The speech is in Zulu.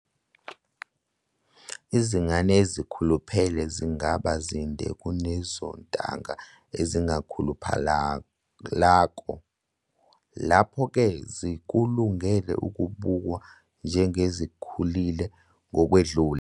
Izingane ezikhuluphele zingaba zinde kunezontanga ezingakhuluphalako, lapho-ke zikulungele ukubukwa njengezikhulile ngokwedlulele.